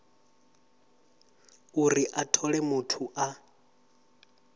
uri a thole muthu a